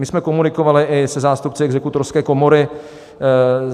My jsme komunikovali i se zástupci Exekutorské komory.